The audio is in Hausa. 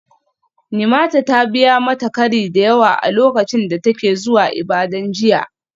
Nimata ta biya mata kari da yawa a lokacin da take zuwa Ibadan jiya.